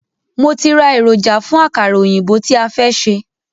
Mo ti rá èròjà fún àkàrà òyìnbó tí a fẹ́ ṣe.